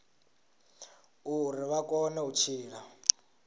uri vha kone u tshila